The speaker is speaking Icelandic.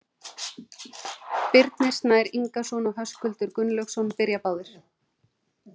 Birnir Snær Ingason og Höskuldur Gunnlaugsson byrja báðir.